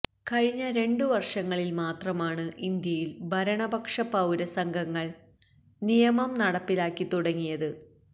കഴിഞ്ഞ രണ്ടു വർഷങ്ങളിൽ മാത്രമാണു ഇന്ത്യയിൽ ഭരണപക്ഷ പൌര സംഘങ്ങൾ നിയമം നടപ്പിലാക്കിത്തുടങ്ങിയത്